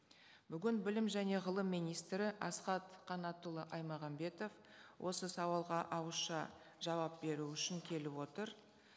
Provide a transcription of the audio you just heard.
бүгін білім және ғылым министрі асхат қанатұлы аймағамбетов осы сауалға ауызша жауап беру үшін келіп отыр